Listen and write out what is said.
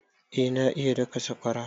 Eh na iya daka sakwara